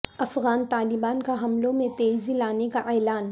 افغان طالبان کا حملوں میں تیزی لانے کا اعلان